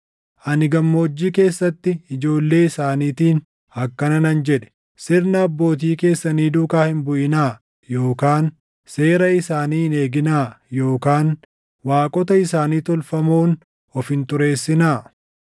Ani gammoojjii keessatti ijoollee isaaniitiin akkana nan jedhe; “Sirna abbootii keessanii duukaa hin buʼinaa yookaan seera isaanii hin eeginaa yookaan waaqota isaanii tolfamoon of hin xureessinaa.